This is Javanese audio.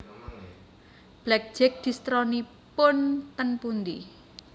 Black Jack distronipun ten pundi?